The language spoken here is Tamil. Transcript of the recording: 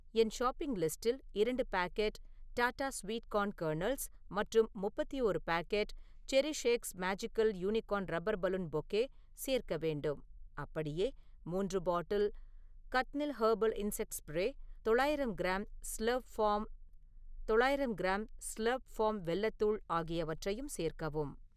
என் ஷாப்பிங் லிஸ்டில் இரண்டு packet Tata sweet corn kernels மற்றும் முப்பத்தி ஓரு packet CherishX magical unicorn rubber balloon bouquet சேர்க்க வேண்டும். அப்படியே, மூன்று bottle Catnil herbal insect spray, தொள்ளாயிரம் கிராம் ஸ்லர்ப் ஃபார்ம் தொள்ளாயிரம் கிராம் ஸ்லர்ப் ஃபார்ம் வெல்லத் தூள் ஆகியவற்றையும் சேர்க்கவும்.